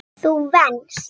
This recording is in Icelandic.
Þú venst.